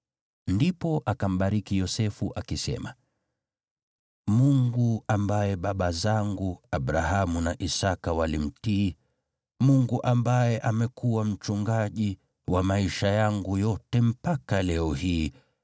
Ndipo akambariki Yosefu akisema, “Mungu ambaye baba zangu Abrahamu na Isaki walimtii, Mungu ambaye amekuwa mchungaji wa maisha yangu yote mpaka leo hii,